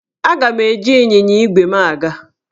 Aga m eji ịnyịnya ígwè m aga.